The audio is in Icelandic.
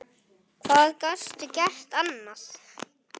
Hvað gastu gert annað?